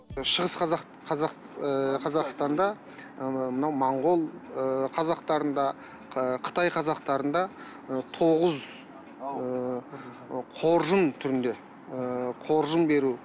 шығыс ы қазақстанда ы мынау монғол ы қазақтарында қытай қазақтарында ы тоғыз ыыы қоржын түрінде ыыы қоржын беру